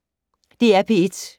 DR P1